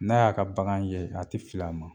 N'a y'a ka bagan ye a te fil'a ma.